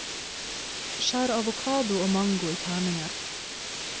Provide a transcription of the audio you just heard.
Skjær avokado og mango i terninger.